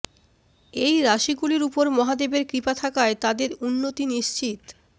এই রাশিগুলির উপর মহাদেবের কৃপা থাকায় তাদের উন্নতি নিশ্চিত